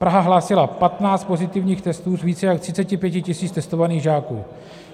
Praha hlásila 15 pozitivních testů z více jak 35 000 testovaných žáků.